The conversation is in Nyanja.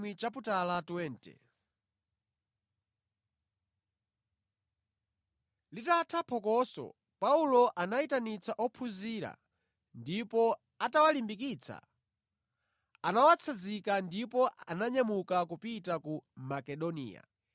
Litatha phokoso, Paulo anayitanitsa ophunzira ndipo atawalimbikitsa anawatsanzika ndipo ananyamuka kupita ku Makedoniya.